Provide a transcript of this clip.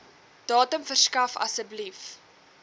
datum verskaf asseblief